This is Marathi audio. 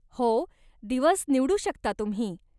हो, दिवस निवडू शकता तुम्ही.